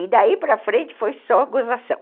E daí para frente foi só gozação.